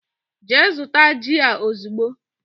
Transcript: Gee zụta jị a ozigbo!!!